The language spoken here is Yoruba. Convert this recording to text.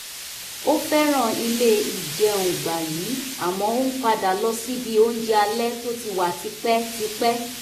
ó fẹ́ràn ilé ìjẹun gbayì àmọ́ ó ń padà lọ síbi oúnjẹ alẹ́ tó ti wà tipẹ́tipẹ́